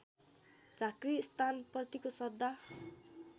झाँक्री स्थानप्रतिको श्रद्धा